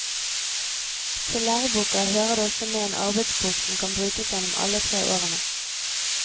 Til læreboka hører det også med en arbeidsbok som kan brukes gjennom alle tre årene.